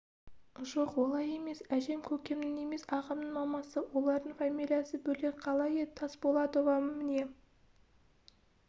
жоқ олай емес әжем көкемнің емес ағамның мамасы олардың фамилиясы бөлек қалай еді тасболатова міне